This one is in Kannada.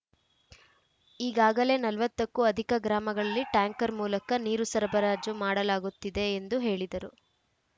ಈಗಾಗಲೇ ನಲವತ್ತು ಕ್ಕೂ ಅಧಿಕ ಗ್ರಾಮಗಳಲ್ಲಿ ಟ್ಯಾಂಕರ್‌ ಮೂಲಕ ನೀರು ಸರಬರಾಜು ಮಾಡಲಾಗುತ್ತಿದೆ ಎಂದು ಹೇಳಿದರು